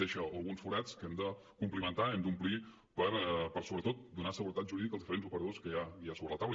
deixa alguns forats que hem de complimentar hem d’omplir per sobretot donar seguretat jurídica als diferents operadors que hi ha sobre la taula